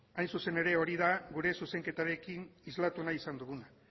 hain zuzen ere hori da gure zuzenketarekin islatu nahi izan duguna